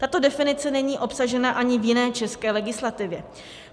Tato definice není obsažena ani v jiné české legislativě.